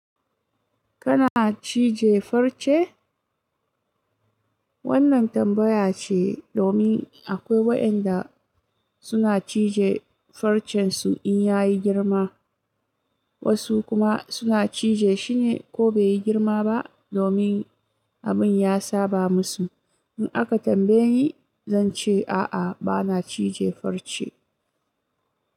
Kana cije farce? Wannan tambaya ce domin akwai waɗanda suna cije farcen su in ya yi girma, wasu kuma suna cije shine ko bai yi girma ba domin abin ya saba musu. In aka tambaye ni, zan ce a'a bana cije farce.